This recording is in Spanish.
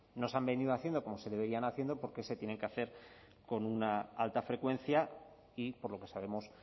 no se han venido haciendo como se debería haciendo por qué se tienen que hacer con una alta frecuencia y por lo que sabemos